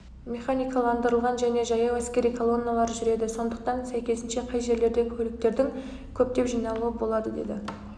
механикаландырылған және жаяу әскери колонналар жүреді сондықтан сәйкесінше кей жерлерде көліктердің көптеп жиналуы болады деді